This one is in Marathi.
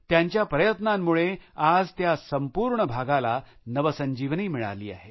त्यांच्या प्रयत्नांमुळे आज त्या संपूर्ण भागाला नवसंजीवनी मिळाली आहे